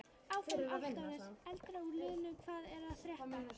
Áfram Álftanes.Eldra úr liðnum Hvað er að frétta?